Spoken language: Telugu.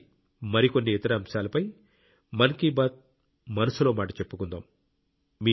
వచ్చేసారి మరికొన్ని ఇతర అంశాలపై మన్ కీ బాత్ మనసులో మాట చెప్పుకుందాం